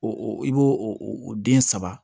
O i b'o o den saba